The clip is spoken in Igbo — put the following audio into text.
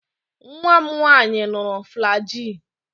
Nwanne m nwanyi ṅụrụ flajil.